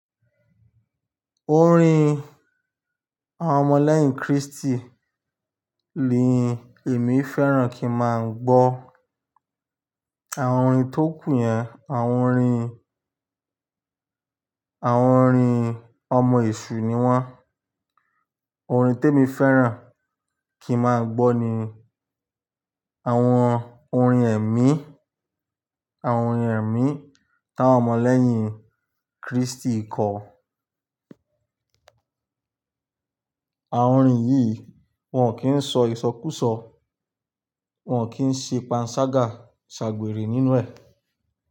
Orin àwọn ọmọ lẹ́yìn Kristi nì èmi fẹ́ràn kí má gbo. Àwọn orin tó kù yẹn àwọn orin, àwọn orin ọmọ èṣù ni wọ́n. Orin tí èmi fẹ́ràn kí máa gbọ́ ni àwọn orin ẹ̀mí, àwọn orin ẹ̀mí tí àwọn ọmọ lẹ́yìn Kristi kọ. Àwọn orin yìí wọ́n kì ń sọ ìsọkúsọ, wọ́n kì ń ṣe panṣágà ṣàgbèrè nínú ẹ̀.